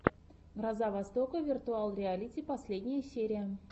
гроза востока виртуал реалити последняя серия